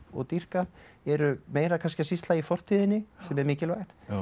dýrka eru meira kannski að sýsla í fortíðinni sem er mikilvægt